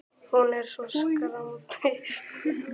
Hún er svo skrambi úrræðagóð, hún Steingerður.